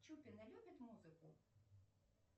чупина любит музыку